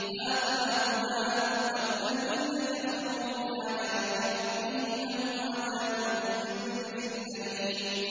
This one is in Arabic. هَٰذَا هُدًى ۖ وَالَّذِينَ كَفَرُوا بِآيَاتِ رَبِّهِمْ لَهُمْ عَذَابٌ مِّن رِّجْزٍ أَلِيمٌ